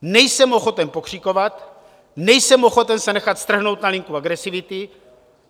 Nejsem ochoten pokřikovat, nejsem ochoten se nechat strhnout na linku agresivity.